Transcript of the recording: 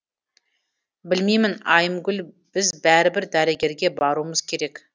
білмеймін айымгүл біз бәрібір дәрігерге баруымыз керек